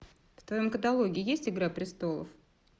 в твоем каталоге есть игра престолов